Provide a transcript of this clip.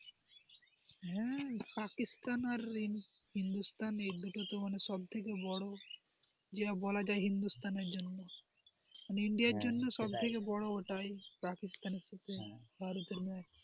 হ্যাঁ পাকিস্তানের আর হিন্দুস্তান এই দুটো তো সব থেকে বড় যে বলা যায় হিন্দুস্থানের জন্য ইন্ডিয়ার জন্য সবথেকে বড় ওটাই, পাকিস্তান এর থেকে,